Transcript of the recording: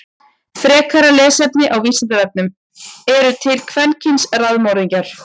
Frekara lesefni á Vísindavefnum: Eru til kvenkyns raðmorðingjar?